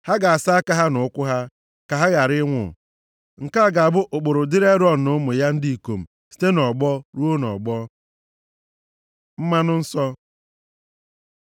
ha ga-asa aka ha na ụkwụ ha, ka ha ghara ịnwụ. Nke a ga-abụ ụkpụrụ dịrị Erọn na ụmụ ya ndị ikom site nʼọgbọ ruo nʼọgbọ.” Mmanụ Nsọ